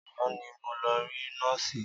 Àná ni mo lọ rí nọ́ọ̀sì.